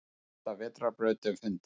Elsta vetrarbrautin fundin